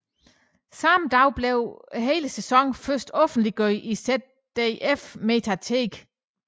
Samme dag blev hele sæsonen først offentliggjort i ZDFmediathek